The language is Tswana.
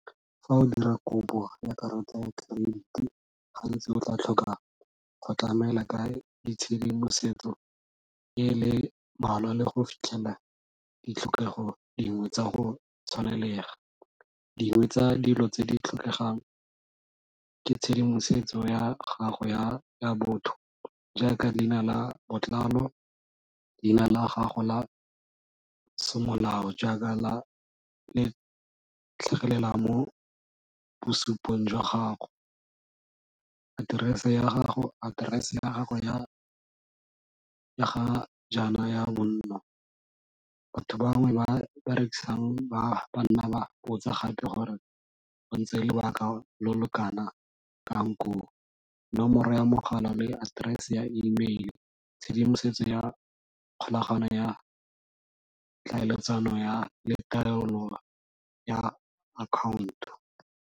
Fa o dira kopo ya karata ya credit-i gantsi o tla tlhoka go tlamela ka ditshedimosetso e le mmalwa le go fitlhelela ditlhokego dingwe tsa go tshwanelega. Dingwe tsa dilo tse di tlhokegang ke tshedimosetso ya gago ya botho, jaaka leina la botlalo, leina la gago la semolao jaaka le tlhagelela mo bosupong jwa gago, aterese ya gago ya ga jaana ya bonno. Batho bangwe ba ba rekisang ba nna ba botsa gape gore go ntse lebaka lo lo kanakang koo, nomoro ya mogala, le aterese ya email, tshedimosetso ya kgolagano ya tlhaeletsano ya ya account.